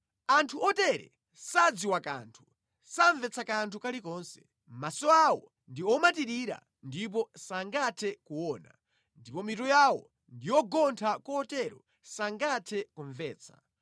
Anthu otere sadziwa kanthu, samvetsa kanthu kalikonse; maso awo ndi omatirira ndipo sangathe kuona, ndipo mitu yawo ndi yogontha kotero sangathe kumvetsa.